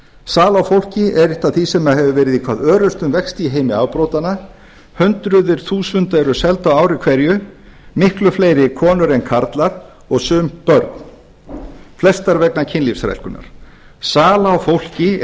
sala á fólki er eitt af því sem hefur verið í hvað örustum vexti í heimi afbrotanna hundruð þúsunda eru seld á ári hverju miklu fleiri konur en karlar og sum börn flest vegna kynlífsþrælkunar sala á fólki